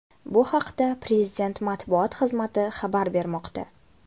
Bu haqida Prezident matbuot xizmati xabar bermoqda .